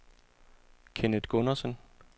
Kenneth Gundersen